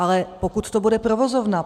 Ale pokud to bude provozovna.